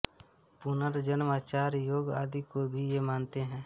पुनर्जन्म आचार योग आदि को भी ये मानते हैं